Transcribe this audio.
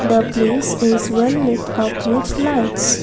the place is well light up which lights.